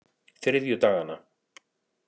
þriðjudaganna